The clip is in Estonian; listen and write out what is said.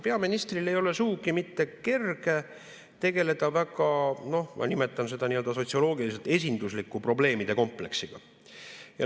Peaministril ei ole sugugi mitte kerge tegeleda väga – noh, ma nimetan seda nii – sotsioloogiliselt esindusliku probleemide kompleksiga.